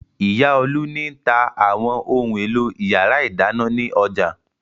Ìyá Olú ni tá àwọn ohun-èlò ìyàrá-ìdáná ní ọjà.